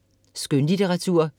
Skønlitteratur